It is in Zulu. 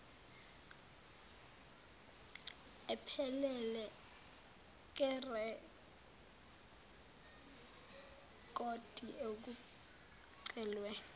ephelele yerekhodi okucelwe